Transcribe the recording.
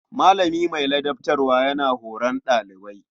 Malami mai ladabtarwa yana horon ɗalibi.